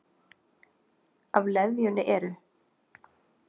Af leðjunni eru